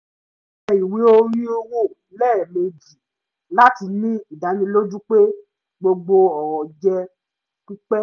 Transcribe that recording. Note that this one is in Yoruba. ó yẹ ìwé orí wò lẹ́ẹ̀mejì láti ní ìdánilojú pé gbogbo ọ̀rọ̀ jẹ́ pípé